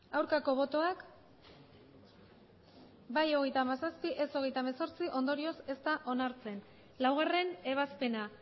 aurkako botoak bai hogeita hamazazpi ez hogeita hemezortzi ondorioz ez da onartzen laugarren ebazpena